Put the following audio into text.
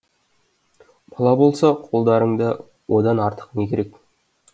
бала болса қолдарыңда одан артық не керек